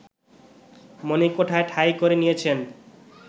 মনিকোঠায় ঠাঁই করে নিয়েছেন